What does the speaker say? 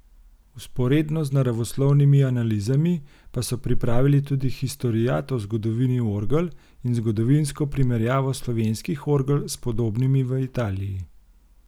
Vzporedno z naravoslovnimi analizami pa so pripravili tudi historiat o zgodovini orgel in zgodovinsko primerjavo slovenskih orgel s podobnimi v Italiji.